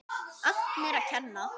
Allt mér að kenna.